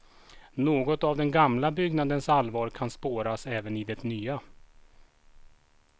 Något av den gamla byggnadens allvar kan spåras även i det nya.